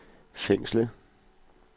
fængslet